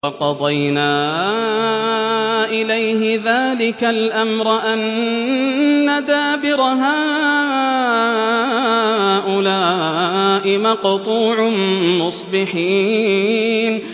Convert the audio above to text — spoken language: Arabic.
وَقَضَيْنَا إِلَيْهِ ذَٰلِكَ الْأَمْرَ أَنَّ دَابِرَ هَٰؤُلَاءِ مَقْطُوعٌ مُّصْبِحِينَ